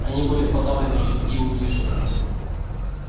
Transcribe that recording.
они были подавлены и и унижены